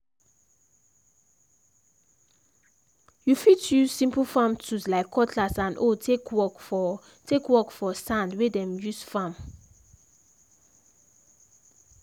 you fit use simple farm tools like cutlass and hoe take work for take work for sand wey dem use farm.